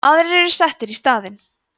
aðrir eru settir í staðinn